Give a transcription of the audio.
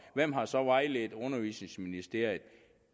hvem har så vejledt undervisningsministeriet